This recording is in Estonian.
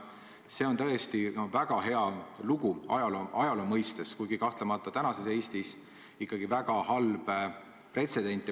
See on tõesti väga hea lugu ajaloo mõistes, kuigi kahtlemata praeguses Eestis ikkagi väga halb pretsedent.